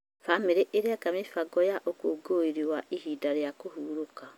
Bamĩrĩ ĩreka mĩbango ya ũkũngũĩri wa ihinda rĩa kũhurũka.